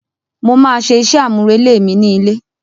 Mo ma ṣe iṣẹ amurele mi ni ilé.